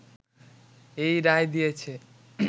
এই রায় দিয়েছে